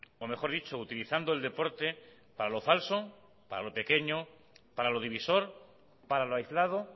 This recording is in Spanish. o mejor dicho utilizando el deporte para lo falso para lo pequeño para lo divisor para lo aislado